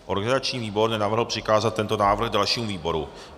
Organizační výbor nenavrhl přikázat tento návrh dalšímu výboru.